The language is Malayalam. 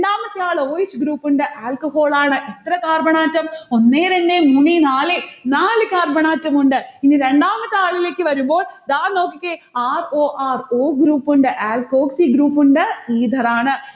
രണ്ടാമത്തെ ആൾ o s group ഉണ്ട്. alcohol ആണ്. എത്ര carbon atom? ഒന്നേ രണ്ടേ മൂന്നേ നാലേ, നാല് carbon atom ഉണ്ട്. ഇനി രണ്ടാമത്തെ ആളിലേക്ക് വരുമ്പോൾ, ദാ നോക്കിക്കേ, r o r o group ഉണ്ട്. alkoxy group ഉണ്ട്. ether ആണ്.